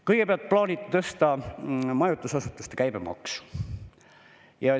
Kõigepealt plaaniti tõsta majutusasutuste käibemaksu.